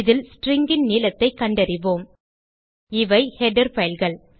இதில் stringன் நீளத்தைக் கண்டறிவோம் இவை ஹெடர் fileகள்